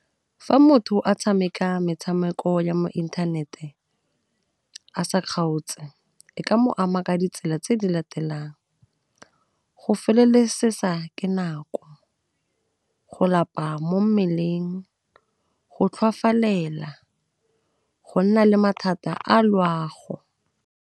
Fa motho a tshameka metshameko ya mo inthanete a sa kgaotse e ka mo ama ka ditsela tse di latelang, go felelesesa ke nako, go lapa mo mmeleng, go tlhoafalela, go nna le mathata a loago.